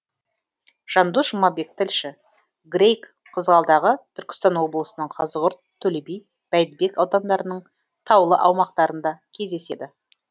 жандос жұмабек тілші грейг қызғалдағы түркістан облысының қазығұрт төлеби бәйдібек аудандарының таулы аумақтарында кездеседі